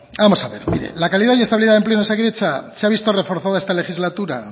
vamos a ver la calidad y estabilidad del empleo en osakidetza se ha visto reforzada esta legislatura